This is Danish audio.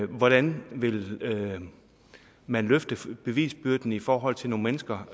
hvordan vil man løfte bevisbyrden i forhold til nogle mennesker